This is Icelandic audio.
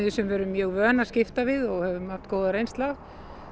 sem við erum mjög vön að skipta við og höfum góða reynslu af